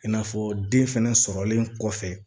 I n'a fɔ den fɛnɛ sɔrɔlen kɔfɛ